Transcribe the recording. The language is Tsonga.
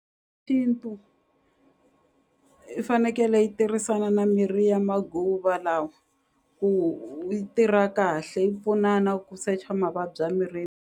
Xintu i fanekele yi tirhisana na mirhi ya lawa ku yi tirha kahle yi pfunana ku secha mavabyi a .